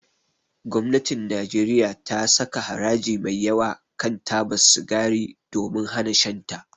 Gwamnatin Najeriya ta saka haraji mai yawa kan taba sigari domin hana shan ta.